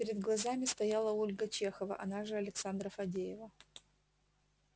перед глазами стояла ольга чехова она же александра фадеева